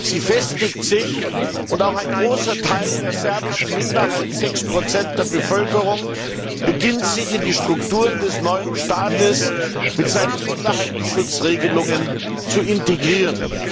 Sie festigt sich, und auch ein großer Teil der serbischen Minderheit 6 der Bevölkerung beginnt sich in die Strukturen des neuen Staates mit seinen Minderheitenschutzregelungen zu integrieren.